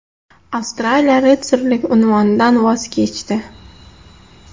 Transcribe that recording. Avstraliya ritsarlik unvonidan voz kechdi.